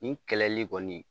Nin kɛlɛli kɔni